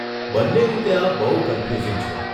બંને રીતે આ બહુ કન્ફ્યુઝિંગ છે.